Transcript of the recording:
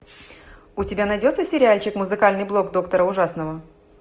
у тебя найдется сериальчик музыкальный блог доктора ужасного